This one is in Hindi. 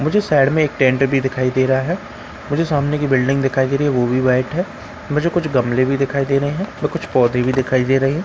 मुझे साइड में एक टेंट भी दिखाई दे रहा है मुझे सामने की बिल्डिंग दिखाई दे रही है वह भी वाइट है मुझे कुछ गमले भी दिखाई दे रहे हैं और कुछ पौधे भी दिखाई दे रहे हैं --